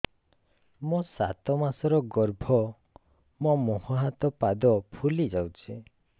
ମୋ ସାତ ମାସର ଗର୍ଭ ମୋ ମୁହଁ ହାତ ପାଦ ଫୁଲି ଯାଉଛି